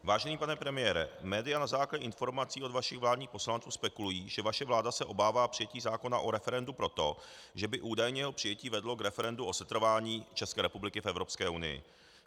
Vážený pane premiére, média na základě informací od vašich vládních poslanců spekulují, že vaše vláda se obává přijetí zákona o referendu proto, že by údajně jeho přijetí vedlo k referendu o setrvání České republiky v Evropské unii.